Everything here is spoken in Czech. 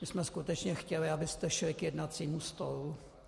My jsme skutečně chtěli, abyste šli k jednacímu stolu.